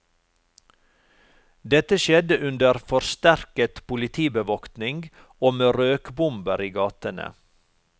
Dette skjedde under forsterket politibevoktning og med røkbomber i gatene.